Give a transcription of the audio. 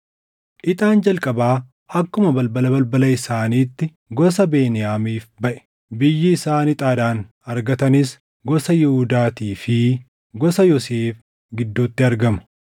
Ixaan jalqabaa akkuma balbala balbala isaaniitti gosa Beniyaamiif baʼe. Biyyi isaan ixaadhaan argatanis gosa Yihuudaatii fi gosa Yoosef gidduutti argama.